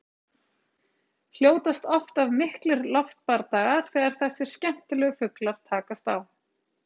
Hljótast oft af miklir loftbardagar þegar þessir skemmtilegu fuglar takast á.